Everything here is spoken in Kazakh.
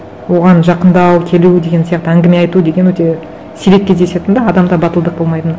оған жақындау келу деген сияқты әңгіме айту деген өте сирек кездесетін де адамда батылдық болмайтын